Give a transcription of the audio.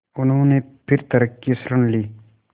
उन्होंने फिर तर्क की शरण ली